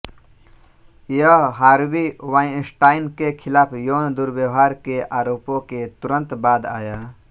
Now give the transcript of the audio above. यह Harvey Weinstein के खिलाफ यौन दुर्व्यवहार के आरोपों के तुरंत बाद आया